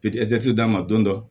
d'a ma don dɔ